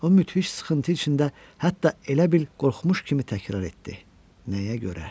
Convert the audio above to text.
O müthiş sıxıntı içində, hətta elə bil qorxmuş kimi təkrar etdi: Nəyə görə?